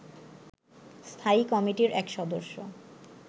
স্থায়ী কমিটির এক সদস্য